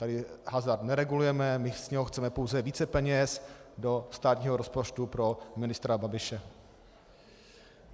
Tady hazard neregulujeme, my z něho chceme pouze více peněz do státního rozpočtu pro ministra Babiše.